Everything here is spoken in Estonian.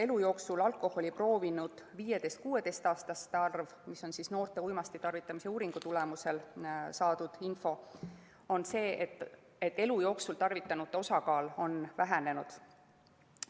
Elu jooksul alkoholi proovinud 15–16‑aastaste arv on vähenenud.